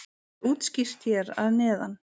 það er útskýrt hér fyrir neðan